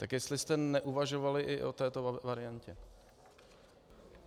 Tak jestli jste neuvažovali i o této variantě.